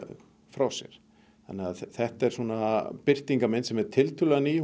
þau frá sér þannig að þetta er svona birtingarmynd sem er tiltölulega ný